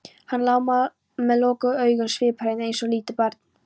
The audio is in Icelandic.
Hann lá með lokuð augun sviphreinn eins og lítið barn.